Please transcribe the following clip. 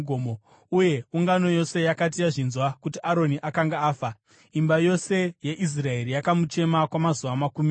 Uye ungano yose yakati yazvinzwa kuti Aroni akanga afa, imba yose yeIsraeri yakamuchema kwamazuva makumi matatu.